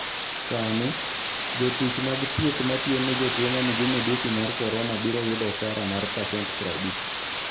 Sani, jotich mag thieth matiyo ne jotuo ma nigi midusi mar korona biro yudo osara mar pasent 50.